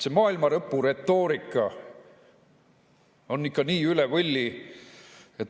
See maailmalõpuretoorika on ikka nii üle võlli.